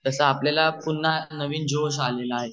जस आपल्याला पुन्हा नवीन जोश आलेलं आहे